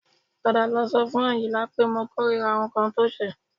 Padà lọ sọ fún Àyìnlá pé mo kórìíra nǹkan tó ṣe